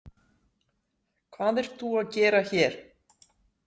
Hvað ert þú að gera hér?